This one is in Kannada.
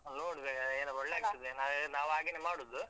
ನೋಡ್ಬೇಕು ಅಹ್ ಏನ್ ಒಳ್ಳೆ ನಾವೆಲ್ಲಾ ಅಹ್ ನಾವ್ ಹಾಗೇನೆ ಮಾಡುದು.